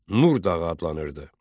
Nurdağ adlanırdı.